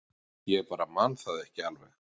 Ég bara man það ekki alveg